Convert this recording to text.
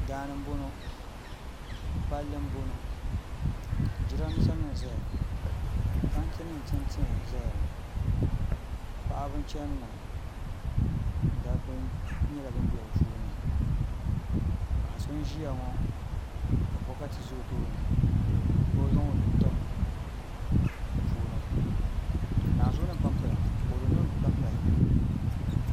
Daani n boŋo palli n boŋo jiranbiisa nim n ʒɛya ŋo tanti nim n tiɛ tiɛ n ʒɛya ŋo paɣaba n chɛni ŋo dabba nyɛla bin bɛ bi puuni paɣa so n ʒiya ŋo ka bokati ʒɛ o tooni ka o zaŋ o nuu tim di puuni